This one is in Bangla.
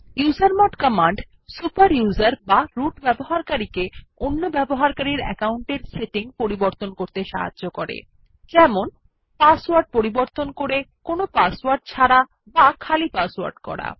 ইউজারমড কমান্ড সুপার ইউজার বা রুট ব্যবহারকারীকে অন্য ব্যবহারকারীর আকাউন্টের সেটিং পরিবর্তন করতে সাহায্য করে পাসওয়ার্ড পরিবর্তন করে কোনো পাসওয়ার্ড ছাড়া বা খালি পাসওয়ার্ড করা